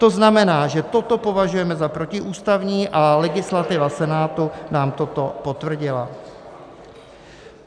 To znamená, že toto považujeme za protiústavní a legislativa Senátu nám toto potvrdila.